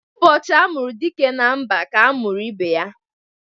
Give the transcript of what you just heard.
Ụbọchị amụru dike na mba ka a mụrụ ibe ya